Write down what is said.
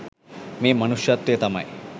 මේ මනුෂ්‍යත්වය තමයි